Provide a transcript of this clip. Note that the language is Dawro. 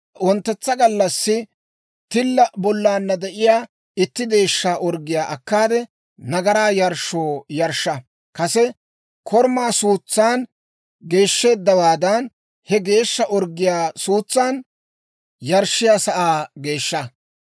« ‹Wonttetsa gallassi tilla bollaanna de'iyaa itti deeshsha orggiyaa akkaade, nagaraa yarshshoo yarshsha. Kase korumaa suutsan geeshsheeddawaadan, he deeshsha orggiyaa suutsan yarshshiyaa sa'aa geeshsha.